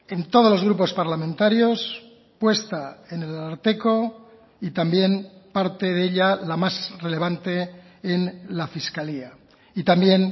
en todos los grupos parlamentarios puesta en el ararteko y también parte de ella la más relevante en la fiscalía y también